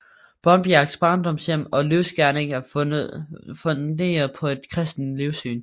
Brondbjergs barndomshjem og livsgerning var funderet på et kristent livssyn